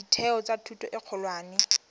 ditheo tsa thuto e kgolwane